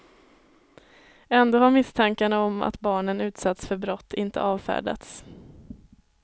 Ändå har misstankarna om att barnen utsatts för brott inte avfärdats.